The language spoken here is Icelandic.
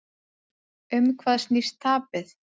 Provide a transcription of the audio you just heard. Um hvað snýst tapið?